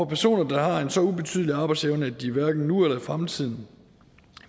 personer der har en så ubetydelig arbejdsevne at de hverken nu eller i fremtiden